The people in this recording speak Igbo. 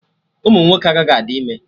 Ụmụnwoke agaghị adị ime